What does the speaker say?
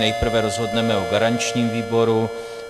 Nejprve rozhodneme o garančním výboru.